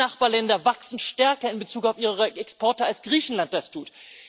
Alle Nachbarländer wachsen in Bezug auf ihre Exporte stärker, als Griechenland das tut.